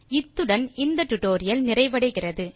இத்துடன் இந்த டியூட்டோரியல் நிறைவடைகிறது